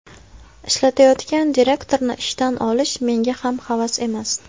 Ishlayotgan direktorni ishdan olish menga ham havas emas.